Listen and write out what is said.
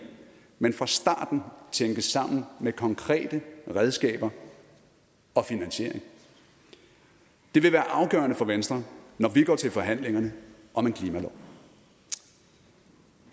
men fra starten tænkes sammen med konkrete redskaber og finansiering det vil være afgørende for venstre når vi går til forhandlingerne om en klimalov